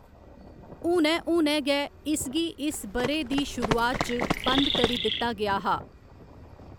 हुनै हुनै गै, इसगी इस ब'रे दी शुरुआत च बंद करी दित्ता गेआ हा।